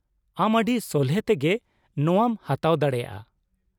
ᱟᱢ ᱟᱹᱰᱤ ᱥᱚᱞᱦᱮ ᱛᱮᱜᱮ ᱱᱚᱶᱟᱢ ᱦᱟᱛᱟᱣ ᱫᱟᱲᱮᱭᱟᱜᱼᱟ ᱾